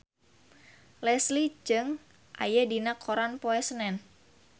Leslie Cheung aya dina koran poe Senen